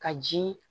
Ka ji